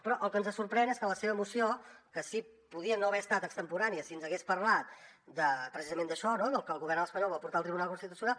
però el que ens sorprèn és que en la seva moció que sí que podia no haver estat extemporània si ens hagués parlat precisament d’això no del que el govern espanyol vol portar al tribunal constitucional